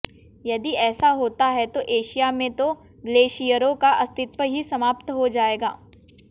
यदि ऐसा होता है तो एशिया में तो ग्लेशियरों का अस्तित्व ही समाप्त हो जायेगा